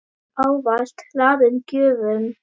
Ávalt hlaðin gjöfum.